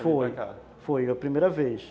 Foi, foi a primeira vez.